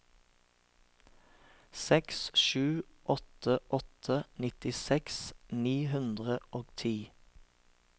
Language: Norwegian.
seks sju åtte åtte nittiseks ni hundre og ti